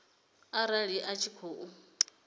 mini arali a tshi khou